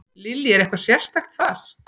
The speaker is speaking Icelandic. Lillý: Er eitthvað sérstakt þar?